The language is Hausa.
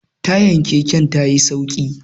tayar keken ta yi sauki